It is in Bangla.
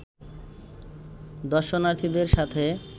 দর্শনার্থীদের সাথে